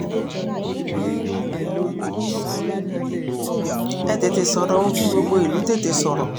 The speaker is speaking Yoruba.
ẹ tètè sọ̀rọ̀ o kí gbogbo ìlú tètè sọ̀rọ̀